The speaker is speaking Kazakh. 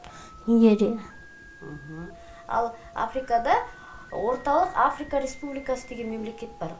нигерия ал африкада орталық африка республикасы деген мемлекет бар